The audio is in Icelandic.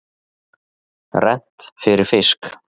Rennt fyrir fisk.